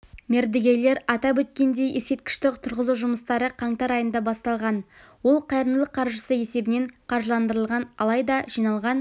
мердігерлер атап өткендей ескерткішті тұрғызу жұмыстары қаңтар айында басталған ол қайырымдылық қаржысы есебінен қаржыландырылған алайда жиналған